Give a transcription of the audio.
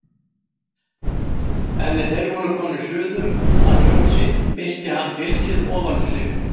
En er þeir voru komnir suður að fjósi missti hann pilsið ofan um sig.